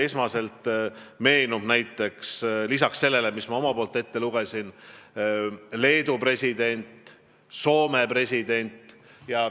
Mulle meenub näiteks lisaks sellele, mis ma omalt poolt ette lugesin, Leedu ja Soome presidendi avaldus.